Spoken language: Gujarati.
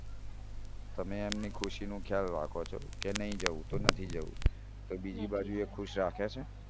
તમે એમની ખુશીનો ખ્યાલ રાખો છો કે નઈ જાઉં તો નથી જઉં તો બીજી બાજુ એ ખુશ રાખે છો